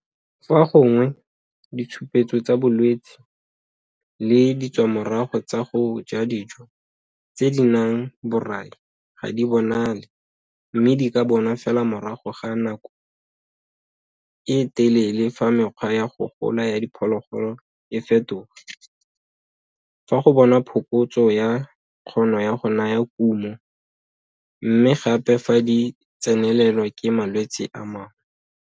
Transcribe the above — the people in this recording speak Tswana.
Fa gongwe, ditshupetso tsa bolwetse le ditswamorago tsa go ja dijo tse di nang borai ga di bonale mme di ka bonwa fela morago ga nako e telele fa mekgwa ya go gola ya diphologolo e fetoga, fa go bonwa phokotso ya kgono go naya kumo, mme gape fa di tsenelelwa ke malwetse a mangwe.